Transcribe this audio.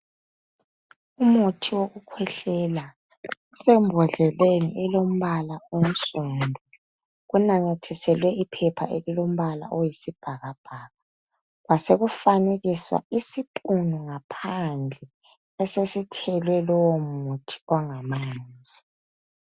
Umuthi wokukwehlela usebhodleni elilombala onsundu. Kunamathiselwe iphepha elilombala oyisibhakabhaka. Kwasekufanekiswa isiphunu ngaphandle esesithelwe lo umuthi ongamanzi.